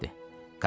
Kişi dedi.